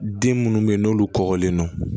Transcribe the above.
Den minnu bɛ yen n'olu kɔgɔlen don